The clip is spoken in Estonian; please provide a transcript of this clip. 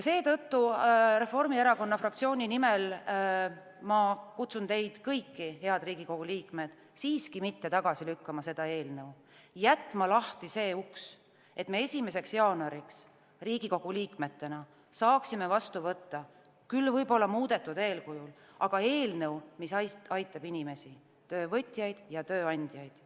Seetõttu kutsun ma Reformierakonna fraktsiooni nimel teid kõiki, head Riigikogu liikmed, siiski mitte tagasi lükkama seda eelnõu, jätma lahti see uks, et me 1. jaanuariks Riigikogu liikmetena saaksime vastu võtta küll võib-olla muudetud kujul, aga eelnõu, mis aitab inimesi – töövõtjaid ja tööandjaid.